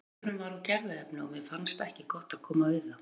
Bolurinn var úr gerviefni og mér fannst ekki gott að koma við það.